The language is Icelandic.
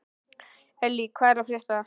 Elly, hvað er að frétta?